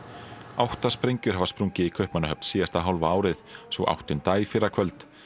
átta sprengjur hafa sprungið í Kaupmannahöfn síðasta hálfa árið sú áttunda í fyrrakvöld